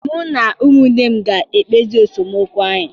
Mụ na ụmụnne m ga-ekpezi esemokwu anyị